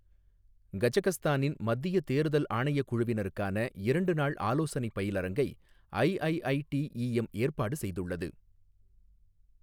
கஜகஸ்தானின் மத்தியத் தேர்தல் ஆணையக் குழுவினருக்கான இரண்டு நாள் ஆலோசனைப் பயிலரங்கை ஐஐஐடிஈஎம் ஏற்பாடு செய்துள்ளது